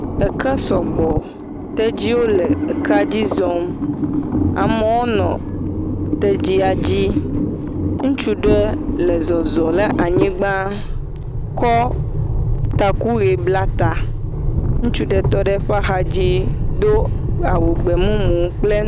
Eke sɔgbɔ. Tedziwo le ekea dzi zɔm. Amewo nɔ tedzia dzi. Ŋutsu le le zɔzɔ le anyigba, kɔ taku ʋee bla ta. Ŋutsu ɖe tɔ ɖe eƒe axadzi do awu gbemumu kple.